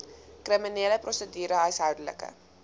kriminele prosedure huishoudelike